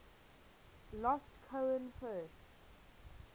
last cohen first